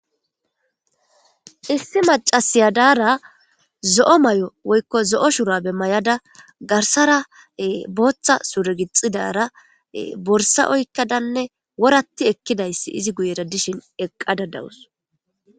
Issi macasiyadara zo7o may7o woykko zo7o shurabe may7ada garsara booththa suregixidara borsa oykkadanne woratti ekkidayssi izi guyera dishin eqqada dawus.